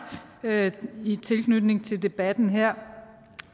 i tilknytning til debatten her